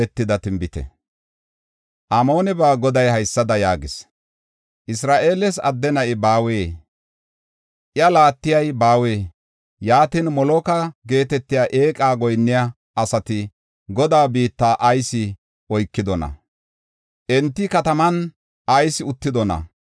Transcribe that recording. Amoonebaa Goday haysada yaagees; “Isra7eeles adde na7i baawee? Iya laattey baawee? Yaatin, Moloka geetetiya eeqa xoossaa goyinniya asati Gaade biitta ayis oykidona? Enta kataman ayis uttidona?